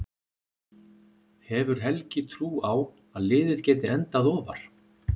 Hefur Helgi trú á að liðið geti endað ofar?